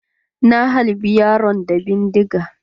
Na halbe yaron da bindiga.